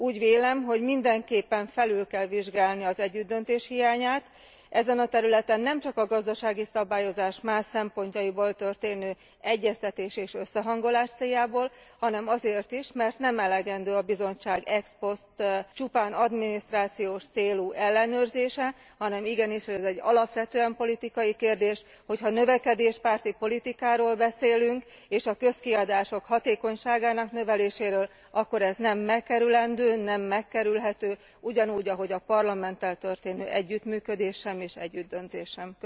Úgy vélem, hogy mindenképpen felül kell vizsgálni az együttdöntés hiányát ezen a területen nemcsak a gazdasági szabályozás más szempontjaiból történő egyeztetés és összehangolás céljából, hanem azért is, mert nem elegendő a Bizottság ex post csupán adminisztrációs célú ellenőrzése, hanem igenis ez egy alapvetően politikai kérdés, hogyha növekedéspárti politikáról beszélünk, és a közkiadások hatékonyságának növeléséről, akkor ez nem megkerülendő, nem megkerülhető, ugyanúgy ahogy a Parlamenttel történő együttműködés sem és az együttdöntés sem.